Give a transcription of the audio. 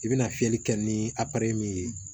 I bɛna fiyɛli kɛ ni a min ye